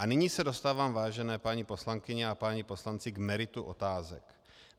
A nyní se dostávám, vážené paní poslankyně a páni poslanci k meritu otázek.